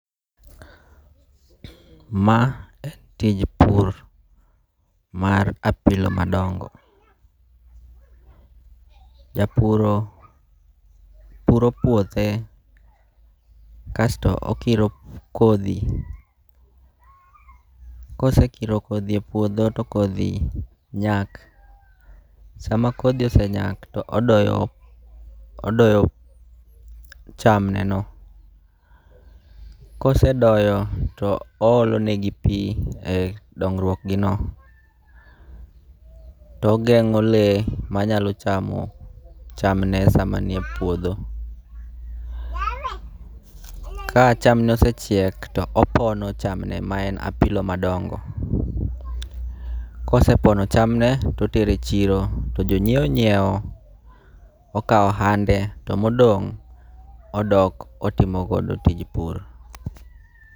Ma tij pur mar apilo madongo. Japuro puro puothe kasto okiro kodhi, kosekiro kodhi e puodho to kodhi nyak. Sama kodhi osenyak to odoyo, odoyo cham ne no. Kosedoyo to oolonegi pi e dongruok gi no. Togeng'o lee manyalo chamo chamne sama nie puodho. Ka chamne osechiek to opono chamne ma en apilo madongo. Kosepono chamne totero e chiro, to jonyiewo nyiewo. Okawo ohande to modong' odok otimo godo tij pur.